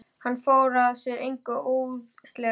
Hann fór sér að engu óðslega.